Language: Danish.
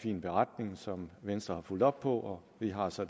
fin beretning som venstre har fulgt op på og vi har så